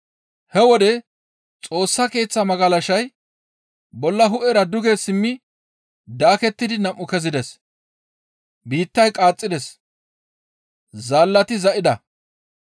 He wode Xoossa Keeththaa magalashay bolla hu7era duge simmi daakettidi nam7u kezides; biittay qaaxxides; zaallati za7ida.